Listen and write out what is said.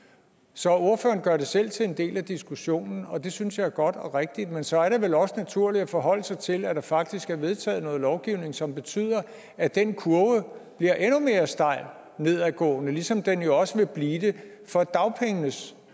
så ordføreren gør det selv til en del af diskussionen og det synes jeg er godt og rigtigt men så er det vel også naturligt at man forholder sig til at der faktisk er vedtaget noget lovgivning som betyder at den kurve bliver endnu mere stejlt nedadgående ligesom den jo også vil blive det for dagpengene